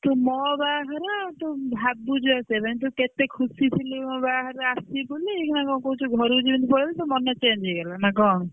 ତୁ ମୋ ବାହାଘର ତୁ ଭାବୁଛୁ ଆସିବାପାଇଁ ତୁ କେତେ ଖୁସି ଥିଲୁ ମୋ ବାହାଘରକୁ ଆସିବୁ ବୋଲି ଏଇଖିନା କଣ କହୁଛୁ ଘରକୁ ଯେମିତି ପଳେଇଲୁ ତୋ ମନ change ହେଇଗଲା ନା କଣ?